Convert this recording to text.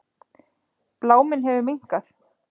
Bláminn hefur minnkað.